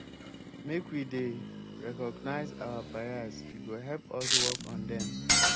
make we dey recognize our bias e go help us work on dem.